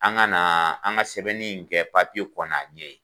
An ka na an ka sɛbɛnni in kɛ papiye kɔ n'a ɲɛ ye.